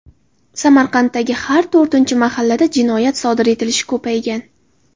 Samarqanddagi har to‘rtinchi mahallada jinoyat sodir etilishi ko‘paygan.